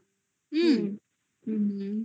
হুম. হুম.